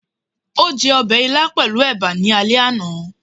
o je obe ílá pelu eba ní àlé ana